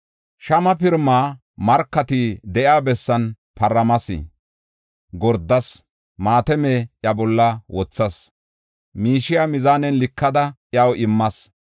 Shama pirimaa markati de7iya bessan paramas; gordas; maatame iya bolla wothas; miishiya mizaanen likada iyaw immas.